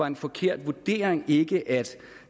en forkert vurdering ikke at